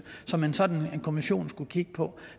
som en sådan kommission skulle kigge på